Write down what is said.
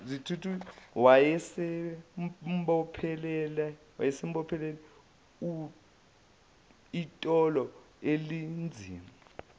wayesembophele itulo elinzima